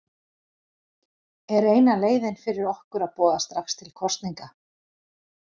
Er eina leiðin fyrir okkur að boða strax til kosninga?